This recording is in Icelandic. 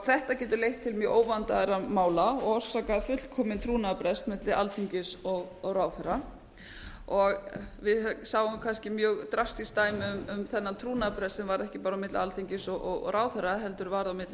þetta getur leitt til mjög óvandaðra mála og orsakað fullkominn trúnaðarbrest milli alþingis og ráðherra við sáum kannski mjög drastísk dæmi um þann trúnaðarbrest sem var ekki bara á milli alþingis og ráðherra heldur var á milli